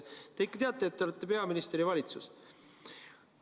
Te ikka teate, et te olete peaminister ja juhite valitsust?